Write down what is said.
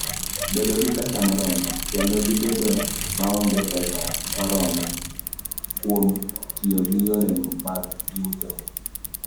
Bedo gi pesa moromo: Kedo gi bedo maonge pesa moromo kuom tiyo gi yore mag yuto.